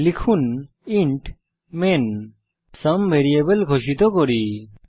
লিখুন int main এখানে একটি ভ্যারিয়েবল সুম ঘোষিত করা যাক